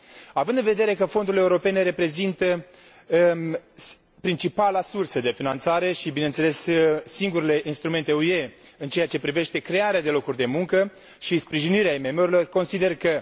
Având în vedere că fondurile europene reprezintă principala sursă de finanțare și, bineînțeles, singurele instrumente UE în ceea ce privește crearea de locuri de muncă și sprijinirea IMM urilor, consider că